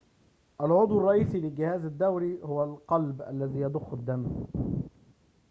العضو الرئيسي للجهاز الدوري هو القلب الذي يضخ الدم